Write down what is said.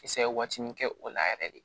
Kisɛ waati min kɛ o la yɛrɛ de